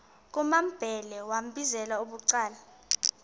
kumambhele wambizela bucala